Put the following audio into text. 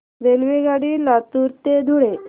रेल्वेगाडी लातूर ते धुळे